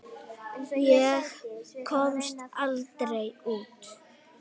Ég komst aldrei út.